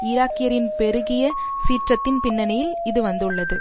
ஈராக்கியரின் பெருகிய சீற்றத்தின் பின்னணியில் இதுவந்துள்ளது